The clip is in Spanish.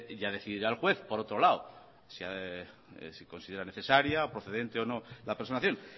ya decidirá el juez por otro lado si considera necesaria o procedente o no la personación